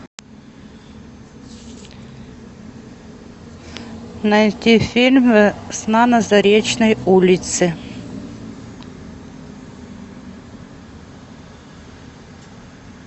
найти фильм весна на заречной улице